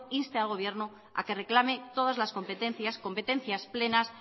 inste al gobierno a que reclame todas las competencias competencias plenas